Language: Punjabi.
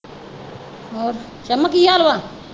ਹੋਰ ਛਮਾ ਕੀ ਹਾਲ ਵਾ?